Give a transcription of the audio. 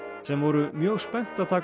sem voru mjög spennt að taka